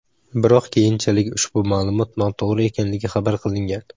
Biroq keyinchalik ushbu ma’lumot noto‘g‘ri ekanligi xabar qilingan.